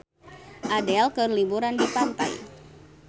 Adele keur liburan di pantai